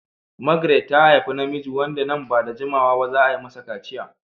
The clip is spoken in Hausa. Margaret ta haifi namiji wanda nan ba da jimawa ba za a yi masa kaciya.